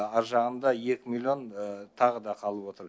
ар жағында екі миллион тағы да қалып отыр